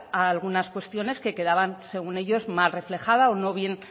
a algunas cuestiones que quedaban según ellos mal reflejadas o no bien